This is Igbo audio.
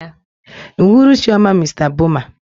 N'uhuruchi ọma, Mr Boma.